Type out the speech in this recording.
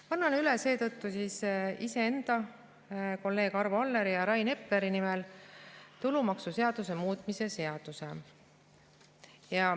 Annan seetõttu iseenda ning kolleegide Arvo Alleri ja Rain Epleri nimel üle tulumaksuseaduse muutmise seaduse.